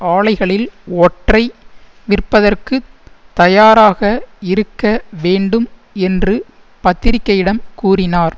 ஆலைகளில் ஒற்றை விற்பதற்குத் தயாராக இருக்க வேண்டும் என்று பத்திரிகையிடம் கூறினார்